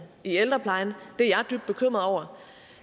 i ældreplejen det er jeg dybt bekymret over